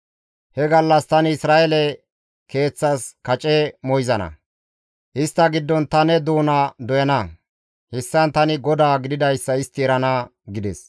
«He gallas tani Isra7eele keeththas kace moyzana; istta giddon ta ne doona doyana; hessan tani GODAA gididayssa istti erana» gides.